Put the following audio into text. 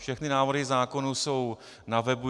Všechny návrhy zákonů jsou na webu.